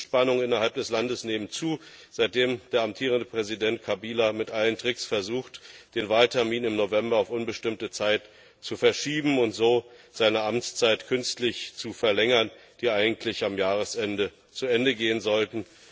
Die politischen Spannungen innerhalb des Landes nehmen zu, seitdem der amtierende Präsident Kabila mit allen Tricks versucht, den Wahltermin im November auf unbestimmte Zeit zu verschieben und so seine Amtszeit künstlich zu verlängern, die eigentlich am Jahresende zu Ende gehen sollte.